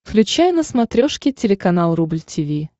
включай на смотрешке телеканал рубль ти ви